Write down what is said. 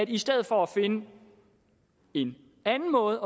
i stedet for at finde en anden måde